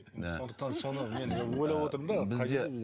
сондықтан соны мен де ойлап отырмын да